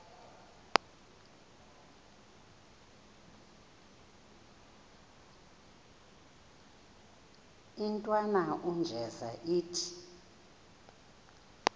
intwana unjeza ithi